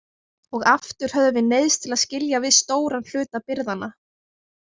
Og aftur höfðum við neyðst til að skilja við stóran hluta birgðanna.